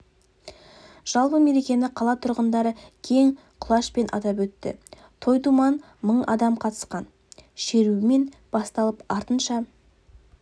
жалпы мерекені қала тұрғындары кең құлашпен атап өтті той-думан мың адам қатысқан шерумен басталып артынша